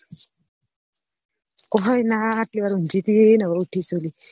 કોઈ ના આટલી વાર ઉંગી તી ને હવે ઉઠી શું લી